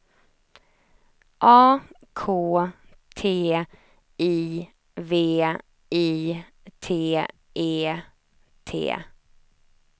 A K T I V I T E T